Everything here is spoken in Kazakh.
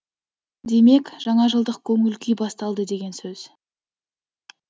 демек жаңажылдық көңіл күй басталды деген сөз